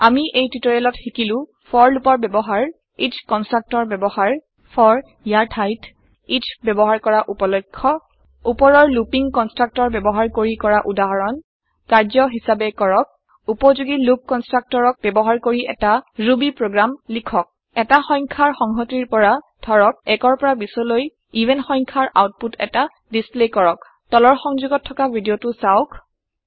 আমি এই টিওটৰিয়েলত শিকিলো ফৰ লুপৰ ব্যৱহাৰ এচ কনষ্ট্ৰাক্টৰ ব্যৱহাৰ ফৰ ইয়াৰ ঠাইত এচ ব্যৱহাৰ কৰা উপলক্ষ্য উপৰৰ লুপিং কনষ্ট্ৰাক্টৰ ব্যৱহাৰ কৰি কৰা উদাহৰণ কাৰ্য্য হিচাবে কৰক উপযোগী লুপ কনষ্ট্ৰাক্ট ব্যৱহাৰ কৰি এটা ৰূৰ্বী প্ৰগ্ৰেম লিখক এটা সংখ্যাৰ সংহতিৰ পৰা ধৰক ১ৰ পৰা ২০ৰলৈ ইভেন সংখ্যাৰ আওতপুত এটা ডিচপ্লে কৰক তলৰ সংযোগত থকা ভিদিয়তো চাওক